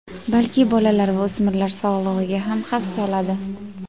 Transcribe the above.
balki bolalar va o‘smirlar sog‘ligiga ham xavf soladi.